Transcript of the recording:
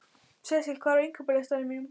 Sesil, hvað er á innkaupalistanum mínum?